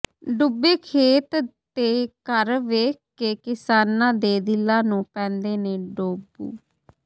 ਡੁੱਬੇ ਖੇਤ ਤੇ ਘਰ ਵੇਖ ਕੇ ਕਿਸਾਨਾਂ ਦੇ ਦਿਲਾਂ ਨੂੰ ਪੈਂਦੇ ਨੇ ਡੋਬੂ